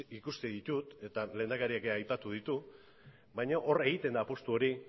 ikusten ditut eta lehendakariak ere aipatu ditu baina hor egiten da apustu hori